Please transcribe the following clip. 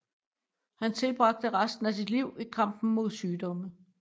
Han tilbragte resten af sit liv i kampen mod sygdommen